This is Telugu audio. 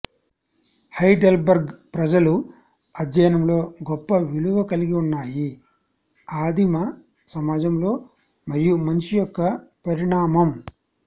హైడెల్బర్గ్ ప్రజలు అధ్యయనంలో గొప్ప విలువ కలిగి ఉన్నాయి ఆదిమ సమాజంలో మరియు మనిషి యొక్క పరిణామం